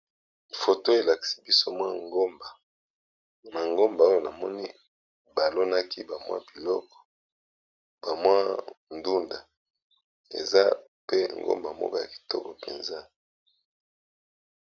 Photo elakisi biso ngomba, pe tomoni na ngomba yango, baloni biloko ébélé